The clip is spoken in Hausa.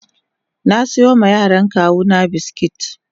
na siyo ma yaran kawuna biskit.